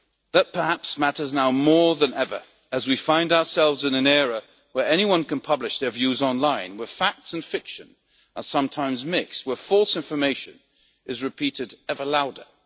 that perhaps matters now more than ever, as we find ourselves in an era where anyone can publish their views online, where facts and fiction are sometimes mixed, where false information is repeated ever louder.